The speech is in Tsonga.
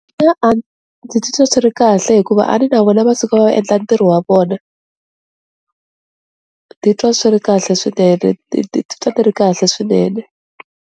ndzi titwa ndzi ri kahle hikuva a ni na vona va suka va endla ntirho wa vona, ni titwa swi ri kahle swinene ni ni titwa ni ri kahle swinene.